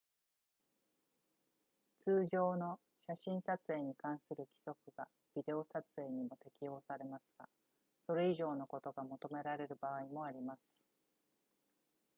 通常の写真撮影に関する規則がビデオ撮影にも適用されますがそれ以上のことが求められる場合もあります